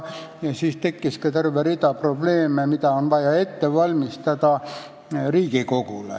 Siis tekkis ka terve rida probleeme, vaja oli Riigikogule hulk materjale ette valmistada.